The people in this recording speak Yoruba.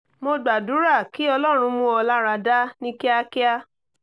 mo gbàdúrà kí ọlọ́run mú ọ lára dá ní kíákíá